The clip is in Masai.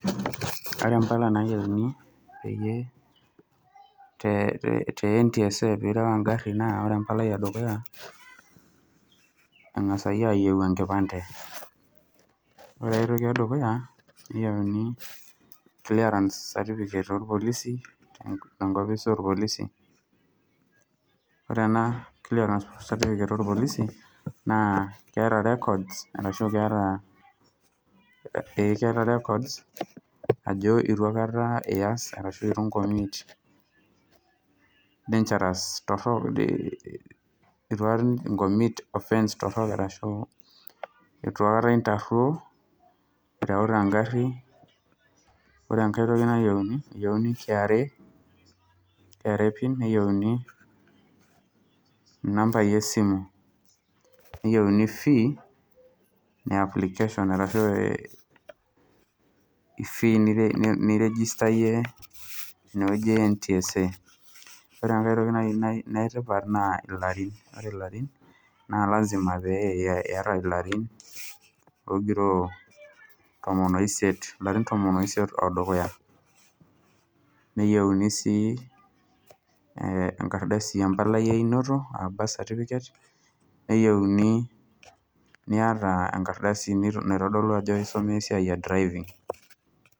Kore impala naayiuni peyie te NTSA peyie ireu engari naa, ore empalai e dukuya, angasi aayiou enkipande. Ore ai toki e dukuya, neyiouni clerance certificate olpolisi tenkopisi oolpolisi, ore ena cearance certificate oolpolisi, naa keata ]records, arashu keata ,ee keata records ajo eitu aikata ias, arashu eitu aikata inkomit dangerous offence ashu eitu aikata intaruo, irewita engari. Ore enkai toki nayieuni, eyieuni KRA pin , neyieuni inambai esimu, neyieuni fee e application arashu ifii niregistarie ine wueji e NTSA. Ore naaji enkai toki e tipat nayouni naa ilarin, ore ilarin naa lazima ogiroo tomon o isiet o dukuya, neyiuni sii enkardasi empalai einoto aa birth certificate neyiouni niata sii enkardasi sii naitodolu ajo isomea esiai e driving'.